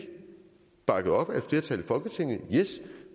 bakket op af et flertal i folketinget